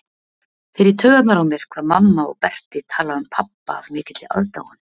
Fer í taugarnar á mér hvað mamma og Berti tala um pabba af mikilli aðdáun.